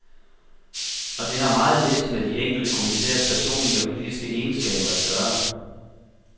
Og det har meget lidt med de enkelte kommissærers personlige og politiske egenskaber at gøre.